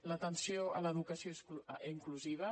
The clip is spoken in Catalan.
l’atenció a l’educació inclusiva